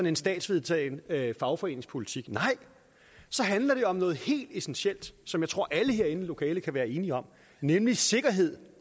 en statsvedtaget fagforeningspolitik nej så handler det om noget helt essentielt som jeg tror alle herinde i lokalet kan være enige om nemlig sikkerhed